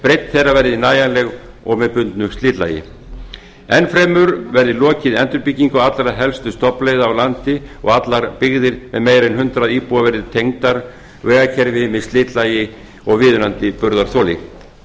breidd þeirra verði nægjanleg og með bundnu slitlagi enn fremur verði lokið endurbyggingu allra helstu stofnleiða á landi og allar byggðir með meira en hundrað íbúa verði tengdar vegakerfi með slitlagi og viðunandi burðarþoli